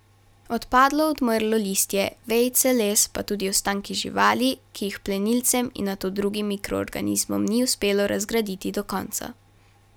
Odpadlo, odmrlo listje, vejice, les, pa tudi ostanki živali, ki jih plenilcem in nato drugim mikroorganizmom ni uspelo razgraditi do konca.